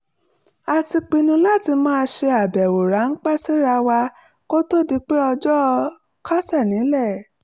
a ti pinnu láti máa ṣe àbẹ̀wò ráńpẹ́ síra wa kó tó di pé ọjọ́ kásẹ̀ nílẹ̀